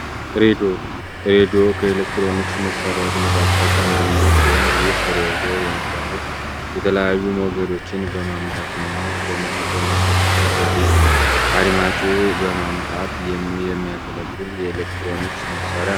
ሬዲዮ ሬዲዮ ከኤሌክትሮኒክስ መሣሪያዎች መካከል አንድኛው ሲሆን፤ ይህ ሬዲዮ የሚባሉ የተለያዩ ሞገዶችን በማምጣትና በመሰብሰብ ወደ አድማጩ በማምጣት የሚያገለግል የኤሌክትሮኒክስ መሣርያ ነው።